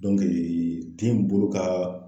den bolo ka